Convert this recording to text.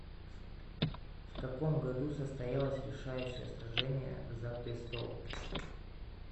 в каком году состоялось решающее сражение за престол